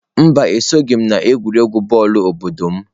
Mba, esoghị m n'egwuregwu bọọlụ obodo m.